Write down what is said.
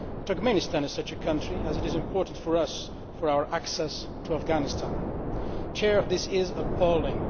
Turkmenistan is such a country, as it is important for us for our access to Afghanistan. This is appalling.